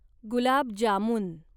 gulab jamun